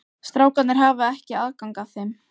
Strákarnir hafa ekki aðgang að þeim?